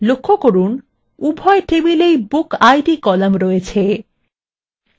লক্ষ্য করুন উভয় টেবিলএর bookid column রয়েছে